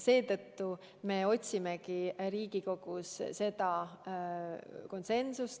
Seetõttu me otsimegi Riigikogus seda konsensust.